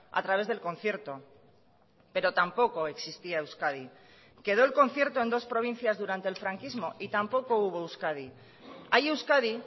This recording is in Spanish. a través del concierto pero tampoco existía euskadi quedó el concierto en dos provincias durante el franquismo y tampoco hubo euskadi hay euskadi